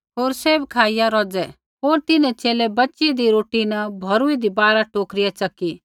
होर सैभ खाईया रोज़ै होर तिन्हैं च़ेले बच़ीदी रोटी न भौरुइन्दी बारा टोकरियाँ च़की